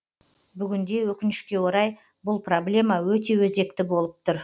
бүгінде өкінішке орай бұл проблема өте өзекті болып тұр